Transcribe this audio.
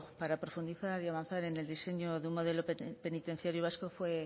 para profundizar y avanzar en el diseño de un modelo penitenciario vasco